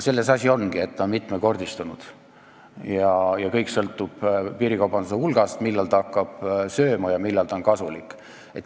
Selles asi ongi, et ta on mitmekordistunud, ja kõik sõltub piirikaubanduse hulgast, millal ta hakkab muud kaubandust sööma ja millal ta on kasulik.